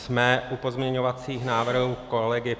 Jsme u pozměňovacích návrhů kolegy